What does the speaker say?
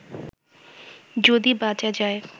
যদি বাঁচা যায়